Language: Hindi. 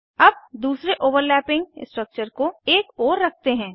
अब दूसरे ओवरलैपिंग स्ट्रक्चर को एक ओर रखते हैं